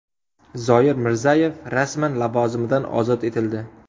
Zoir Mirzayev rasman lavozimidan ozod etildi.